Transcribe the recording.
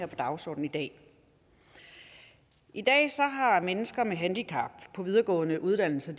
på dagsordenen i dag i dag har mennesker med handicap på videregående uddannelser